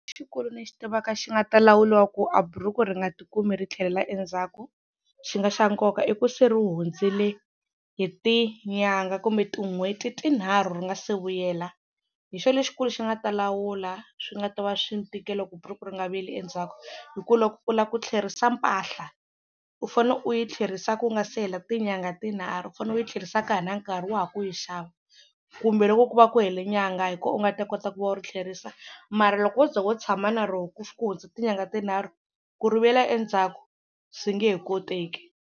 lexi ni xi tivaka xi nga ta lawuliwa ku a buruku ri nga tikumi ri tlhelela endzhaku xi nga xa nkoka i ku se ri hundzele hi tinyangha kumbe tin'hweti tinharhu ri nga se vuyela hi xo lexikulu xi nga ta lawula swi nga ta va swi ni tikela ku buruku ri nga vuyeli endzhaku hi ku loko u lava ku tlherisela mpahla u fane u yi tlherisa ku nga si hela tinyangha tinharhu u fane u yi tlherisa ka ha ri na nkarhi wa ha ku yi xava kumbe loko ku va ku hela nyangha hi ko u nga ta kota ku va u ri tlherisa mara loko wo ze wo tshama na ro ku hundza tinyangha tinharhu ku ri vuyela endzhaku swi nge he koteki.